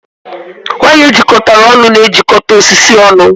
Waya ejikọtara ọnụ na-ejikọta osisi ọnụ